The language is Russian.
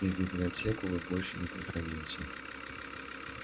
и в библиотеку вы больше не приходите